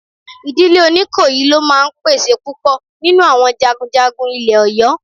Ìdílé Oníkòyí ló máa ń pèsè púpọ̀ nínú àwọn jagunjagun ilẹ̀ Ọ̀yọ́